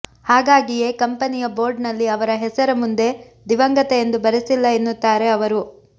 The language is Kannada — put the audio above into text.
ಹಾಗಾಗಿಯೇ ಕಂಪನಿಯ ಬೋರ್ಡ್ನಲ್ಲಿ ಅವರ ಹೆಸರ ಮುಂದೆ ದಿವಂಗತ ಎಂದು ಬರೆಸಿಲ್ಲ ಎನ್ನುತ್ತಾರೆ ಅವರು